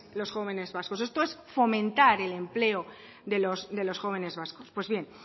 los jóvenes vascos esto es fomentar el empleo de los jóvenes vascos pues bien